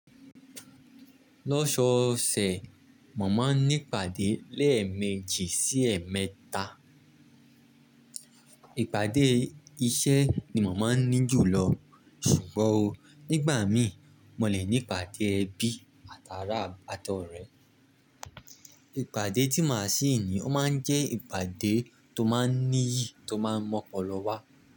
Lọ́sọọsẹ̀, mo máa ní ìpàdé lẹ́ẹ̀mẹ́jì sí ẹ̀mẹẹ́ta. Ìpàdé iṣẹ́ ni mo maá ní jù lọ. Ṣùgbọ́n-o, nígbà mií, mọ lè ní ìpàdé ẹbí àtàrà átọrẹ. Ìpàdé tí màá sí ní, o máa jẹ́ ìpàdé tó máa n níyi, tó máa n mọpọ̀ lọ wá.